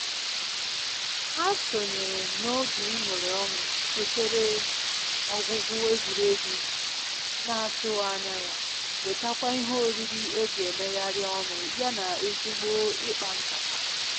Ha sonyere na oge iñurị ọñụ sotere ọgwụgwụ egwuregwu na atụghị anya ya, wetakwa ihe oriri eji emegharị ọnụ ya na ezigbo ịkpa nkata